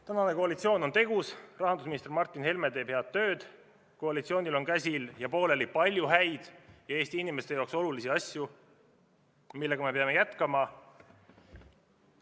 Tänane koalitsioon on tegus, rahandusminister Martin Helme teeb head tööd, koalitsioonil on käsil ja pooleli palju häid ja Eesti inimeste jaoks olulisi asju, millega me peame jätkama.